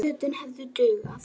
Fötin hefðu dugað.